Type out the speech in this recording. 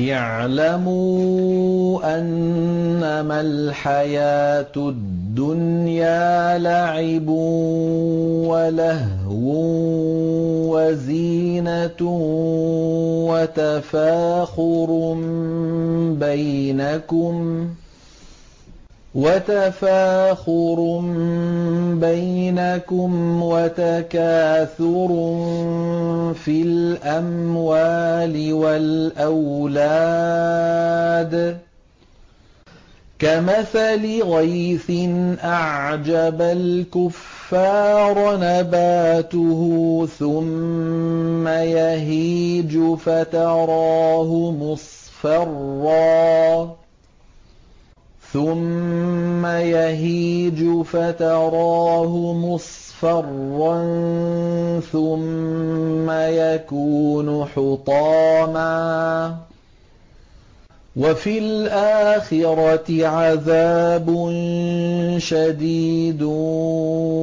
اعْلَمُوا أَنَّمَا الْحَيَاةُ الدُّنْيَا لَعِبٌ وَلَهْوٌ وَزِينَةٌ وَتَفَاخُرٌ بَيْنَكُمْ وَتَكَاثُرٌ فِي الْأَمْوَالِ وَالْأَوْلَادِ ۖ كَمَثَلِ غَيْثٍ أَعْجَبَ الْكُفَّارَ نَبَاتُهُ ثُمَّ يَهِيجُ فَتَرَاهُ مُصْفَرًّا ثُمَّ يَكُونُ حُطَامًا ۖ وَفِي الْآخِرَةِ عَذَابٌ شَدِيدٌ